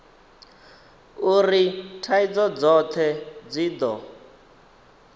uri thaidzo dzothe dzi do